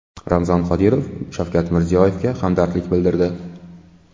Ramzan Qodirov Shavkat Mirziyoyevga hamdardlik bildirdi.